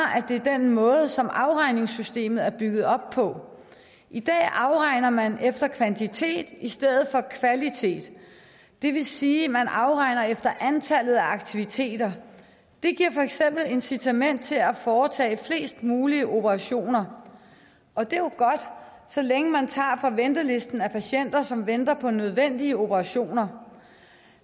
er den måde som afregningssystemet er bygget op på i dag afregner man efter kvantitet i stedet for efter kvalitet det vil sige at man afregner efter antallet af aktiviteter det giver for eksempel incitament til at foretage flest mulige operationer og det er jo godt så længe man tager fra ventelisten af patienter som venter på nødvendige operationer